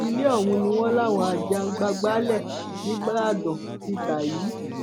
ilé ọhún ni wọn láwọn ajàgbàǹgbàlẹ nígbàdàn ti ta yìí